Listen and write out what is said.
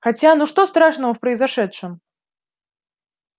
хотя ну что страшного в произошедшем